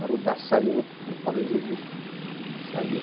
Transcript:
O Rudá saiu no no Paulo Egídio, ele saiu.